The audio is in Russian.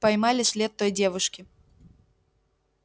поймали след той девушки